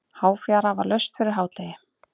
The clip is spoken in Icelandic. Háfjara var laust fyrir hádegi.